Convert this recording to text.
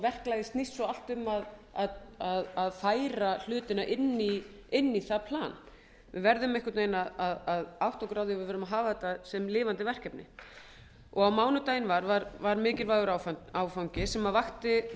verklagið snýst svo allt um að færa hlutina inn í það plan við verðum einhvern veginn að átta okkur á því að við verðum að hafa þetta sem lifandi verkefni á mánudaginn var var mikilvægur áfangi sem vakti